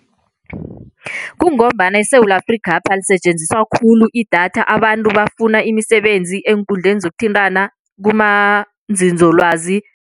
Kungombana eSewula Afrikhapha lisetjenziswa khulu idatha abantu bafuna imisebenzi eenkundleni zokuthintana kumanzinzolwazi.